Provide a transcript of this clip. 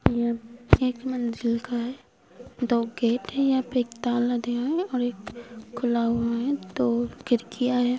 एक मंजिल का है दो गेट हैं यहाँ पे एक ताला दिया है और एक खुला हुआ है तो फिर किया है।